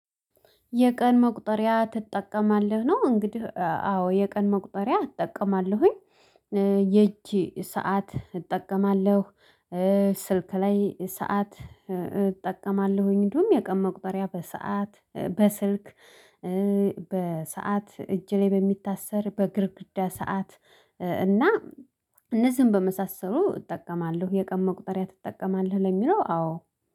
የቀን መቁጠሪያ ትጠቀማለህ ነው? እንግዲህ አዎ የቀን መቁጠሪያ እጠቀማለሁኝ። የእጅ ሰዓት እጠቀማለሁ። ስልክ ላይ ሰዓት እጠቀማለሁኝ እንደውም የቀን መቁጠሪያ በሰአት በስልክ በሰአት እጅ ላይ በሚታሰር በግድግዳ ሰዓት እና እነዚህን በመሳሰሉ እጠቀማለሁ። የቀን መቁጠሪያ ትጠቀማለህ ለሚለው አዎ